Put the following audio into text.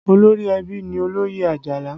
Olórí ẹbí ni Oloye Ajala